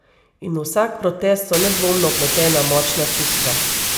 In v vsak protest so nedvomno vpletena močna čustva.